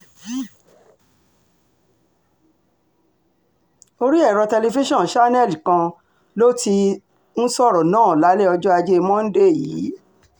orí ètò tẹlifíṣàn channels kan um ló um ló ti sọ̀rọ̀ náà lálẹ́ ọjọ́ ajé monde um yìí